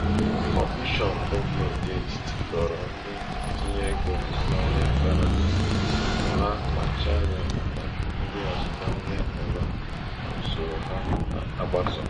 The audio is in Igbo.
um kọmishọn gọọmentị etiti dọrọ ndị ntinye ego azụmahịa aka na ntị ka ha kpachara anya màkà ndị azụmahịa ugha na usoro ha na-agbaso